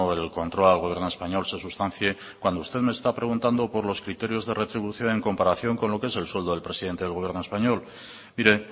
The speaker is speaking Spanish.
el control al gobierno español se sustancie cuando usted me está preguntando por los criterios de retribución en comparación con lo que es el sueldo del presidente del gobierno español mire